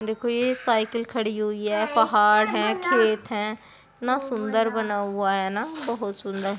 देखो ये साइकिल खड़ी हुई है पहाड़ है खेत है कितना सुन्दर बना हुआ है ना बहुत सुन्दर|